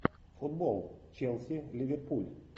футбол челси ливерпуль